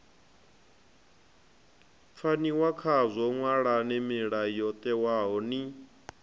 pfaniwa khazwo ṅwalani mulayotewa ni